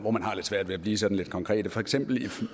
har lidt svært ved at blive sådan konkret for eksempel